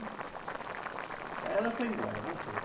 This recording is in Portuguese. Aí ela foi embora, voltou.